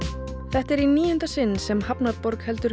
þetta er í níunda sinn sem hafnarborg heldur